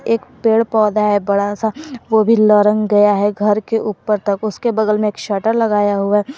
एक पेड़ पौधा है बड़ा सा वो भी लरण गया है घर के ऊपर तक उसके बगल में एक शटर लगाया हुआ है।